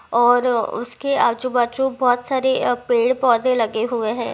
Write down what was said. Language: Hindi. और उसके आजु बाजु बोहोत सारे अ पेड़ पौधे लगे हुए है।